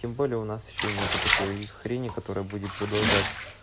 тем более у нас ещё нету такой хрени которая будет продолжать